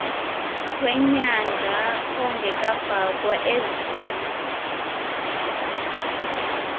wenyanga ongekafakwa ezinye